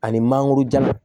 Ani mangoroja